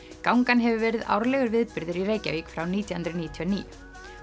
gangan hefur verið árlegur viðburður í Reykjavík frá nítján hundruð níutíu og níu